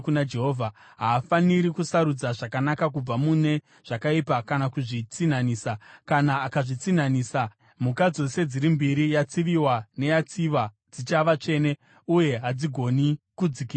Haafaniri kusarudza zvakanaka kubva mune zvakaipa kana kuzvitsinhanisa. Kana akazvitsinhanisa, mhuka dzose dziri mbiri, yatsiviwa neyatsiva, dzichava tsvene uye hadzigoni kudzikinurwa.’ ”